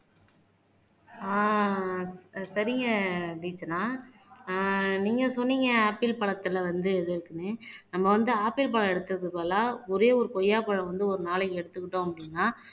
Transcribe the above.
அஹ் சரிங்க தீக்ஷனா ஆஹ் நீங்க சொன்னீங்க ஆப்பிள் பழத்துல வந்து இது இருக்குன்னு நம்ம வந்து ஆப்பிள் பழம் எடுத்ததுக்கு பதிலா ஒரே ஒரு கொய்யாப்பழம் வந்து ஒரு நாளைக்கு எடுத்துக்கிட்டோம் அப்படின்னா